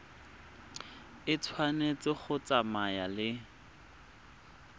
e tshwanetse go tsamaya le